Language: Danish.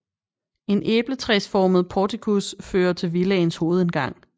En æbletræsformet portikus fører til villaens hovedindgang